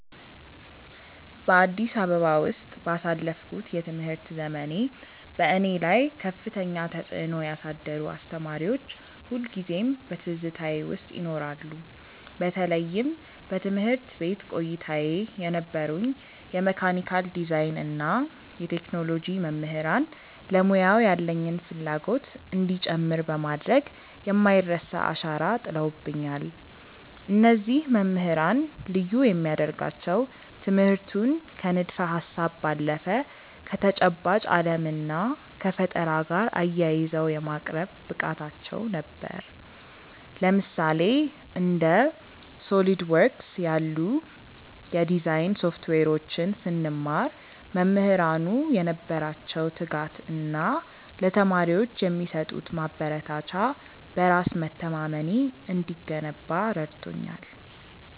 በአዲስ አበባ ውስጥ ባሳለፍኩት የትምህርት ዘመኔ፣ በእኔ ላይ ከፍተኛ ተጽዕኖ ያሳደሩ አስተማሪዎች ሁልጊዜም በትዝታዬ ውስጥ ይኖራሉ። በተለይም በትምህርት ቤት ቆይታዬ የነበሩኝ የመካኒካል ዲዛይን እና የቴክኖሎጂ መምህራን ለሙያው ያለኝን ፍላጎት እንዲጨምር በማድረግ የማይረሳ አሻራ ጥለውብኛል። እነዚህ መምህራን ልዩ የሚያደርጋቸው ትምህርቱን ከንድፈ-ሀሳብ ባለፈ ከተጨባጭ ዓለም እና ከፈጠራ ጋር አያይዘው የማቅረብ ብቃታቸው ነበር። ለምሳሌ፣ እንደ SOLIDWORKS ያሉ የዲዛይን ሶፍትዌሮችን ስንማር፣ መምህራኑ የነበራቸው ትጋት እና ለተማሪዎች የሚሰጡት ማበረታቻ በራስ መተማመኔ እንዲገነባ ረድቶኛል።